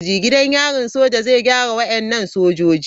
Gidan yarin soja zai gyara wadannan sojoji.